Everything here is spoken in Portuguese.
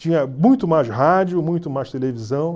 Tinha muito mais rádio, muito mais televisão.